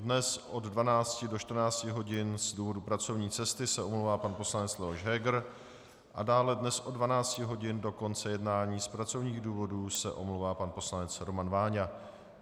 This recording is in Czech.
Dnes od 12 do 14 hodin z důvodu pracovní cesty se omlouvá pan poslanec Leoš Heger a dále dnes od 12 hodin do konce jednání z pracovních důvodů se omlouvá pan poslanec Roman Váňa.